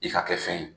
I ka kɛ fɛn ye